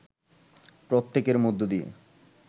প্রত্যেকের মধ্য দিয়ে